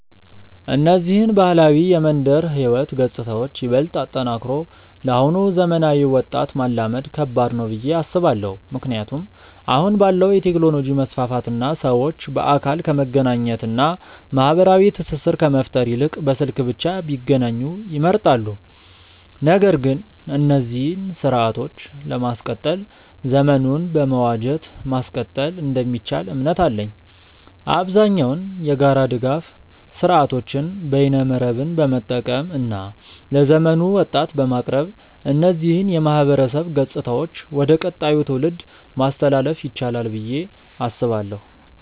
እነዚህን ባህላዊ የመንደር ህይወት ገጽታዎችን ይበልጥ አጠናክሮ ለአሁኑ ዘመናዊ ወጣት ማላመድ ከባድ ነው ብዬ አስባለው። ምክንያቱም አሁን ባለው የቴክኖሎጂ መስፋፋት እና ሰዎች በአካል ከመገናኘት እና ማህበራዊ ትስስር ከመፍጠር ይልቅ በስልክ ብቻ ቢገናኙ ይመርጣሉ። ነገር ግን እነዚህን ስርአቶችን ለማስቀጠል ዘመኑን በመዋጀት ማስቀጠል እንደሚቻል እምነት አለኝ። አብዛኛውን የጋራ ድጋፍ ስርአቶችን በይነመረብን በመጠቀም እና ለዘመኑ ወጣት በማቅረብ እነዚህን የማህበረሰብ ገጽታዎች ወደ ቀጣዩ ትውልድ ማስተላለፍ ይቻላል ብዬ አስባለው።